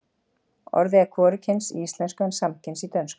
orðið er hvorugkyns í íslensku en samkyns í dönsku